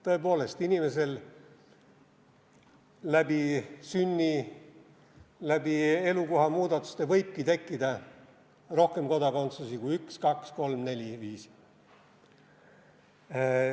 Tõepoolest, inimesel võibki läbi sünni, läbi elukohamuudatuste tekkida rohkem kodakondsusi kui üks, kaks, kolm, neli või viis.